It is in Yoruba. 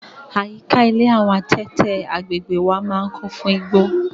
Àyíká ilé àwọn adẹ́tẹ̀ agbègbèe wa máa ń kún fún igbó.